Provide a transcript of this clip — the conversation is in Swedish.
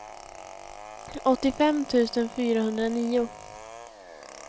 åttiofem tusen fyrahundranio